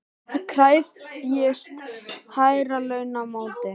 Var það einhver Hans sem hannaði hansahillurnar?